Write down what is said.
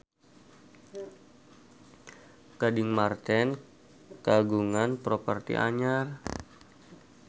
Gading Marten kagungan properti anyar